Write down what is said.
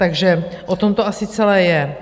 Takže o tom to asi celé je.